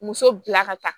Muso bila ka taa